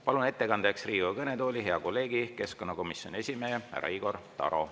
Palun ettekandeks Riigikogu kõnetooli hea kolleegi, keskkonnakomisjoni esimehe härra Igor Taro.